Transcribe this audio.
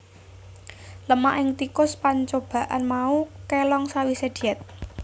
Lemak ing tikus pancoban mau kélong sawisé diet